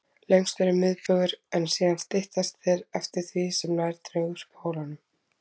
Lengstur er miðbaugur, en síðan styttast þeir eftir því sem nær dregur pólunum.